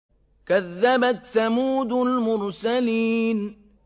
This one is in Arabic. كَذَّبَتْ ثَمُودُ الْمُرْسَلِينَ